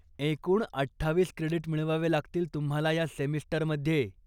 एकूण अठ्ठावीस क्रेडीट मिळवावे लागतील तुम्हाला या सेमिस्टरमध्ये.